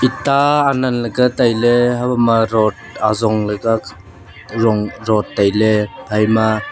eta anan ley ka tailey habo ma rot ajong ley ka kha rong rot tailey phaima.